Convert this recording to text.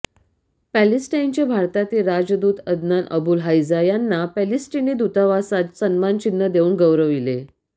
पॅलेस्टाईनचे भारतातील राजदूत Adnan Abul Haija यांनी पॅलेस्टीनी दुतावासात सन्मान चिन्ह देऊन गौरविले